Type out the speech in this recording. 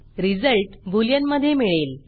result बुलियनमधे मिळेल